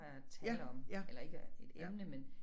At tale om eller ikke et emne men